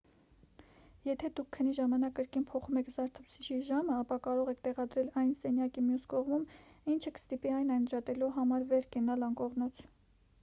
եթե դուք քնի ժամանակ կրկին փոխում եք զարթուցիչի ժամը ապա կարող եք տեղադրել այն սենյակի մյուս կողմում ինչը կստիպի այն անջատելու համար վեր կենալ անկողնուց